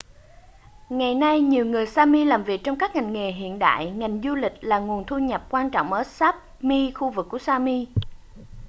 ngày nay nhiều người sami làm việc trong các ngành nghề hiện đại ngành du lịch là nguồn thu nhập quan trọng ở sapmi khu vực của sami